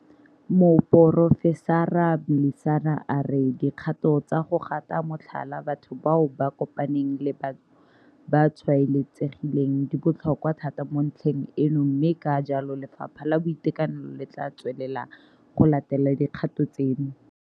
Moporofesara Mlisana a re dikgato tsa go gata motlhala batho bao ba kopaneng le bao ba tshwaetsegileng di botlhokwa thata mo ntlheng eno mme ka jalo Lefapha la Boitekanelo le tla tswelela go latela dikgato tseno.